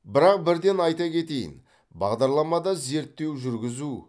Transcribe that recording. бірақ бірден айта кетейін бағдарламада зерттеу жүргізу